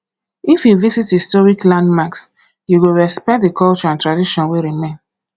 if you visit historic landmarks you go respect the culture and tradition wey remain